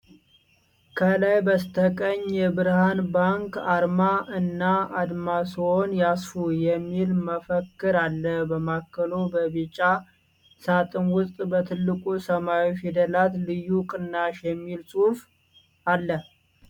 ከላይ በስተቀኝ የብርሃን ባንክ አርማ እና "አድማስዎን ያሰፉ!" የሚል መፈክር አለ። በማዕከሉ በቢጫ ሳጥን ውስጥ በትልቁ ሰማያዊ ፊደላት "ልዩ ቅናሽ" የሚል ጽሑፍ አለ።